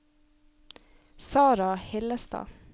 Sarah Hillestad